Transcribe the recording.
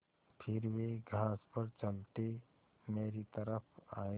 फिर वे घास पर चलते मेरी तरफ़ आये